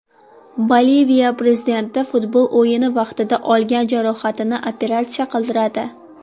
Boliviya prezidenti futbol o‘yini vaqtida olgan jarohatini operatsiya qildiradi.